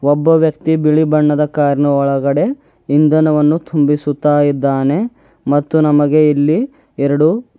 ಒಬ್ಬ ವ್ಯಕ್ತಿ ಬಿಳಿ ಬಣ್ಣದ ಕಾರ್ ನ ಒಳಗಡೆ ಇಂಧನವನ್ನು ತುಂಬಿಸುತ ಇದ್ದಾನೆ ಮತ್ತು ನಮಗೆ ಇಲ್ಲಿ ಎರಡು--